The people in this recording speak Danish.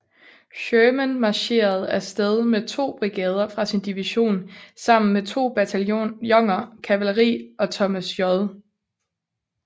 Sherman marcherede af sted med to brigader fra sin division sammen med to bataljoner kavaleri og Thomas J